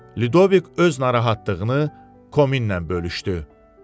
Lidovik öz narahatlığını Kominlə bölüşdü.